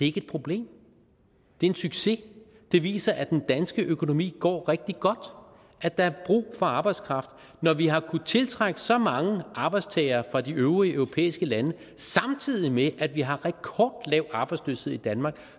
ikke et problem det er en succes det viser at den danske økonomi går rigtig godt at der er brug for arbejdskraft når vi har kunnet tiltrække så mange arbejdstagere fra de øvrige europæiske lande samtidig med at vi har rekordlav arbejdsløshed i danmark